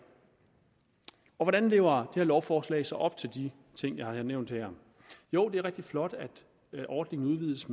hvordan lever her lovforslag så op til de ting jeg har nævnt her jo det er rigtig flot at ordningen udvides